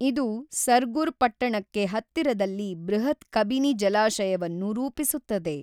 ಇದು ಸರ್ಗುರ್ ಪಟ್ಟಣಕ್ಕೆ ಹತ್ತಿರದಲ್ಲಿ ಬೃಹತ್ ಕಬಿನಿ ಜಲಾಶಯವನ್ನು ರೂಪಿಸುತ್ತದೆ.